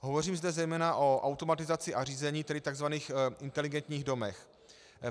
Hovořím zde zejména o automatizaci a řízení, tedy tzv. inteligentních domech.